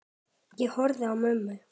Ég horfi á mömmu.